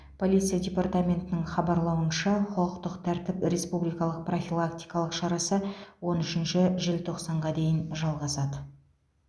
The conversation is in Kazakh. полиция департаментінің хабарлауынша құқықтық тәртіп республикалық профилактикалық шарасы он үшінші желтоқсанға дейін жалғасады